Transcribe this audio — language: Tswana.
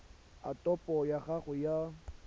a topo ya gago ya